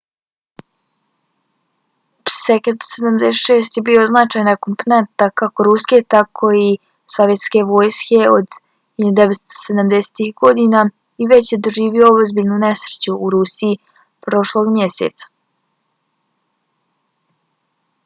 ii-76 je bio značajna komponenta kako ruske tako i sovjetske vojske od 1970-ih godina i već je doživio ozbiljnu nesreću u rusiji prošlog mjeseca